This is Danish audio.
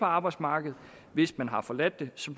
arbejdsmarkedet hvis man har forladt det så